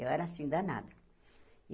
Eu era assim danada.